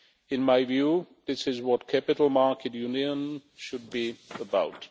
In my view, this is what capital market union should be about.